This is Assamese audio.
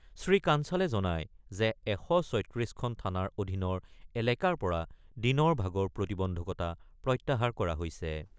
শ্ৰীকাঞ্চালে জনায় যে ১৩৬ খন থানাৰ অধীনৰ এলেকাৰ পৰা দিনৰ ভাগৰ প্ৰতিবন্ধকতা প্ৰত্যাহাৰ কৰা হৈছে।